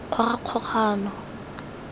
kgogakgogano